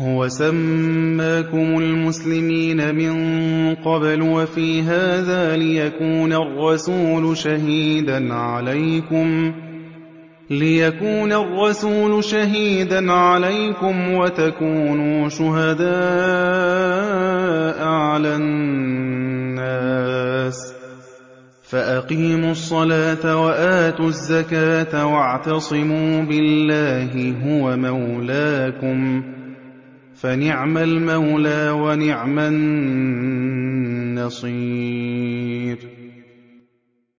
هُوَ سَمَّاكُمُ الْمُسْلِمِينَ مِن قَبْلُ وَفِي هَٰذَا لِيَكُونَ الرَّسُولُ شَهِيدًا عَلَيْكُمْ وَتَكُونُوا شُهَدَاءَ عَلَى النَّاسِ ۚ فَأَقِيمُوا الصَّلَاةَ وَآتُوا الزَّكَاةَ وَاعْتَصِمُوا بِاللَّهِ هُوَ مَوْلَاكُمْ ۖ فَنِعْمَ الْمَوْلَىٰ وَنِعْمَ النَّصِيرُ